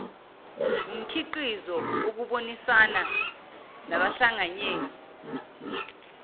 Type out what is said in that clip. wumkhiqizo wokubonisana nabahlanganyeli